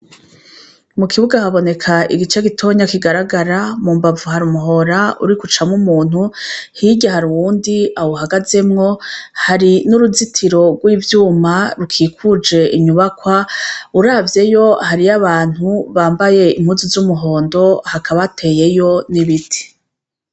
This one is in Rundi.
Mukibuga haboneka igice gitoya kigaragara, mumbavu hari umuhora uriko ucamwo umuntu, hirya hari uwundi awuhagazemwo, hari n'uruzitiro rw'ivyuma rukikuje inyubakwa, uravyeyo hariyo abantu bambaye impuzu z'umuhondo, hakaba hateyeyo n'ibiti.